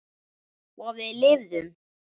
Og við lifðum.